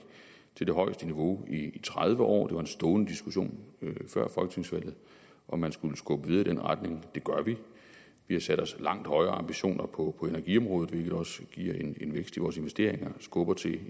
til det højeste niveau i tredive år det var en stående diskussion før folketingsvalget om man skulle skubbe videre i den retning og det gør vi vi har sat os langt højere ambitioner på energiområdet hvilket også giver en vækst i vores investeringer og skubber til